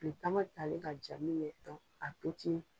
Tile caman talen k'a ja minkɛ